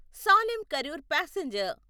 Salem Karur passenger